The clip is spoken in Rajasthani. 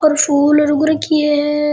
और फूल उग राखी है र।